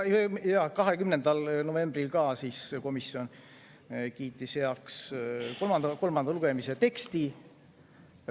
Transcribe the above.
Ja 20. novembril komisjon kiitis heaks kolmanda lugemise teksti.